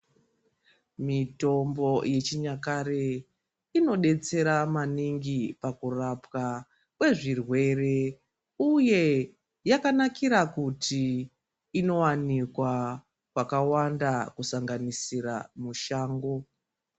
Mitombo yechinyakare inodetsera maningi pakurapwa kwezvirwere uye yakanakira kuti inowanikwa kwakawanda kusanganisira mushango.